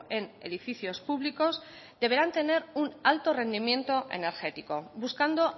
en edificios públicos deberán tener un alto rendimiento energético buscando